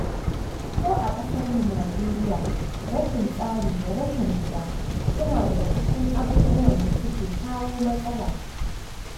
Ko a ƙasarmu Najeriya, rashin tsari da rashin kula, suna daga cikin abubuwan da suke kawo matsala.